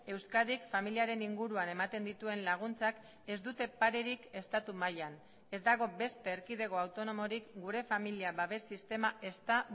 euskadik familiaren inguruan ematen dituen laguntzak ez dute parerik estatu mailan ez dago beste erkidego autonomorik gure familia babes sistema ez da